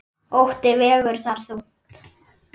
Ótti vegur þar þungt.